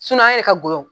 an yɛrɛ ka golow